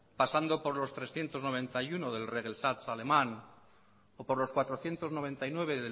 pasando por los trescientos noventa y uno del regelsatz alemán o por los cuatrocientos noventa y nueve